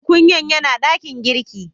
Tukunyan yana dakin girki.